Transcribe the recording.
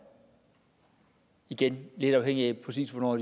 igen lidt afhængigt af præcis hvornår